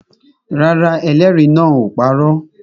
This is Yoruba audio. Rárá, ẹlẹ́rìí náà ò parọ́